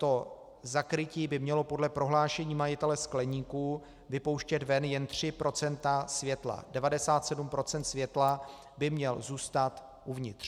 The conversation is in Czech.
To zakrytí by mělo podle prohlášení majitele skleníku vypouštět ven jen 3 % světla, 97 % světla by mělo zůstat uvnitř.